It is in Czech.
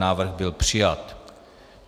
Návrh byl přijat.